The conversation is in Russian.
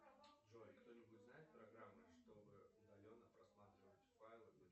джой кто нибудь знает программы чтобы удаленно просматривать файлы